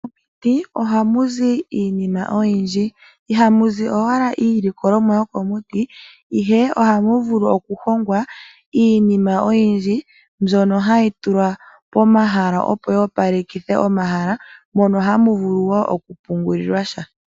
Komiti oha kuzi iinima oyindji iha muzi owala iilikolomwa yokomuti ihe oha muvulu oku hongwa iinima oyindji mbyono hayi tulwa pomahala opo yi opalekithe omahala mono hamu vulu wo oku pungullilwa sha .